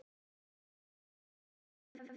Elsku Steina.